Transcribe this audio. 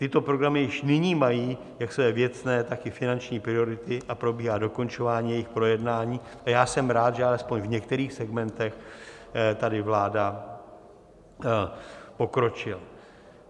Tyto programy již nyní mají jak své věcné, tak i finanční priority a probíhá dokončování jejich projednávání, a já jsem rád, že alespoň v některých segmentech tady vláda pokročila.